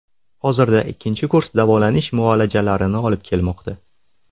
Hozirda ikkinchi kurs davolanish muolajalarini olib kelmoqda.